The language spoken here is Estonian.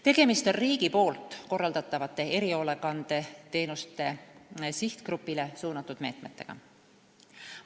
Tegemist on riigi korraldatavate erihoolekandeteenuste sihtgrupile suunatud meetmetega.